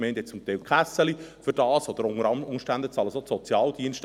Gemeinden haben zum Teil «Kässeli» dafür, oder unter Umständen zahlen die Sozialdienste.